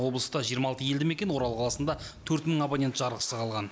облыста жиырма алты елді мекен орал қаласында төрт мың абонент жарықсыз қалған